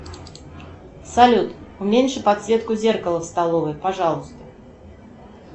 салют уменьши подсветку зеркала в столовой пожалуйста